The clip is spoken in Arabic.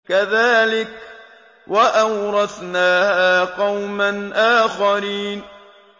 كَذَٰلِكَ ۖ وَأَوْرَثْنَاهَا قَوْمًا آخَرِينَ